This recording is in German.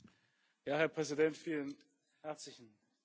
Herr Präsident, vielen herzlichen Dank!